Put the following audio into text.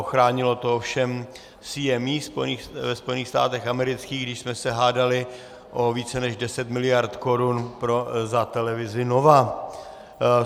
Ochránilo to ovšem CME ve Spojených státech amerických, když jsme se hádali o více než 10 miliard korun za televizi Nova.